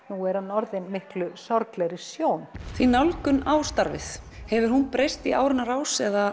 nú er hann orðinn miklu sorglegri sjón þín nálgun á starfið hefur hún breyst í áranna rás eða